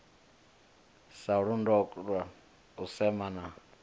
sa londola u sema na